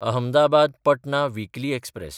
अहमदाबाद–पटना weekly express